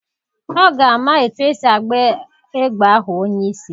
Ọ ga-ama etu esi agba egbe ahụ onye isi.